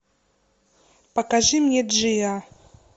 покажи мне джиа